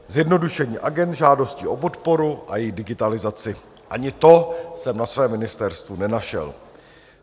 Zjednodušení agend žádostí o podporu a její digitalizaci - ani to jsem na své ministerstvu nenašel.